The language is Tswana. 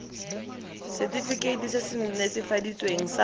setefikeiti se se netefaditsweng sa